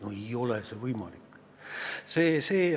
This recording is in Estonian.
No ei ole võimalik!